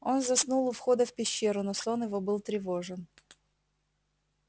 он заснул у входа в пещеру но сон его был тревожен